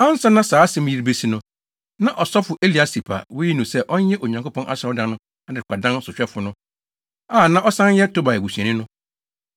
Ansa na saa asɛm yi rebesi no, na ɔsɔfo Eliasib a woyii no sɛ ɔnyɛ Onyankopɔn Asɔredan no adekoradan sohwɛfo no a na ɔsan yɛ Tobia busuani no,